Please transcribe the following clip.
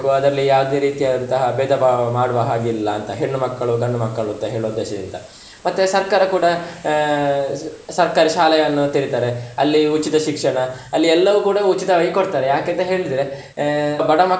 ಅದ್ರಲ್ಲಿ ಯಾವ್ದೇ ರೀತಿಯಾದಂತಹ ಬೇಧ ಭಾವ ಮಾಡುವ ಹಾಗೆ ಇಲ್ಲ ಅಂತ ಹೆಣ್ಣು ಮಕ್ಕಳು ಗಂಡು ಮಕ್ಕಳು ಅಂತ ಹೇಳುವ ಉದ್ದೇಶದಿಂದ, ಮತ್ತೆ ಸರ್ಕಾರ ಕೂಡ ಆಹ್ ಸರ್ಕಾರಿ ಶಾಲೆಯನ್ನು ತೆರಿತಾರೆ, ಅಲ್ಲಿ ಉಚಿತ ಶಿಕ್ಷಣ ಅಲ್ಲಿ ಎಲ್ಲವೂ ಕೂಡ ಉಚಿತವಾಗಿ ಕೊಡ್ತಾರೆ ಯಾಕೆಂತ ಹೇಳಿದ್ರೆ ಆಹ್ ಬಡ ಮಕ್ಕಳು.